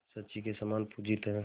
शची के समान पूजित हैं